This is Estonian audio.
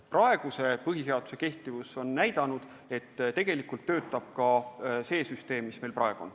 Praeguse põhiseaduse kehtivus on küll näidanud, et tegelikult töötab ka see süsteem, mis meil praegu on.